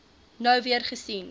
nou weer gesien